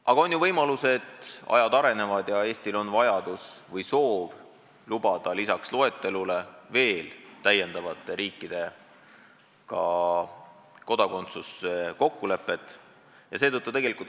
Aga on ju võimalus, et ajad arenevad, ning kui Eestil on vajadus või soov lubada lisaks loetelule veel mõne riigi kodakondsust, siis sellise kokkuleppe võib sõlmida.